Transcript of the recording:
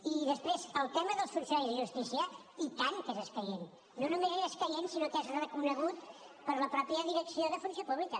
i després el tema dels funcionaris de justícia i tant que és escaient no només és escaient sinó que és reconegut per la mateixa direcció de funció pública